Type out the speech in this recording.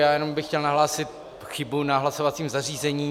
Já jenom bych chtěl nahlásit chybu na hlasovacím zařízení.